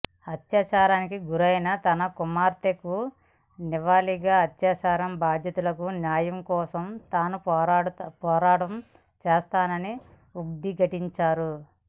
అత్యాచారానికి గురైన తన కుమార్తెకు నివాళిగా అత్యాచార బాధితులకు న్యాయం కోసం తాను పోరాటం చేస్తానని ఉద్ఘాటించారు